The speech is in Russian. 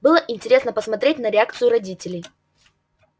было интересно посмотреть на реакцию родителей